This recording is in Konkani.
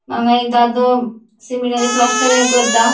हांगा एक दादलों सिमिटाचे प्लास्टर एक करता.